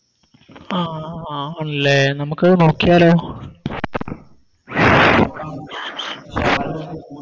ആ അഹ് ആഹ് ആണ് ലെ നമുക്കത് നോക്കിയാലോ